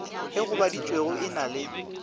e gobaditšwego e na le